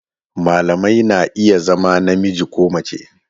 Malamai na iya zama namiji ko mace